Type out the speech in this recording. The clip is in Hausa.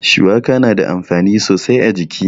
Shuwaka na da amfani sosai a jiki.